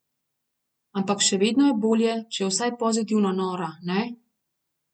Ampak še vedno je bolje, če je vsaj pozitivno nora, ne?